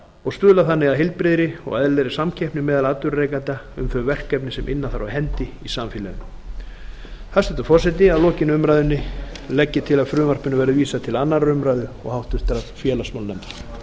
og stuðla þannig að heilbrigðri og eðlilegri samkeppni meðal atvinnurekenda um þau verkefni sem inna þarf af hendi í samfélaginu hæstvirtur forseti að lokinni umræðunni legg ég til að frumvarpinu verði vísað til annarrar umræðu og háttvirtur félagsmálanefndar